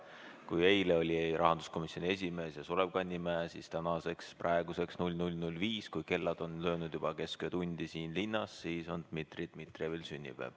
Kui eile olid sünnipäevalapsed rahanduskomisjoni esimees ja Sulev Kannimäe, siis tänaseks, praeguseks kell 00.05, kui kell on löönud juba kesköötundi siin linnas, on Dmitri Dmitrijevil sünnipäev.